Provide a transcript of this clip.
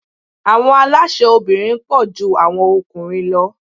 Àwọn alásè obìnrin pọ̀ ju àwọn okùnrin lọ.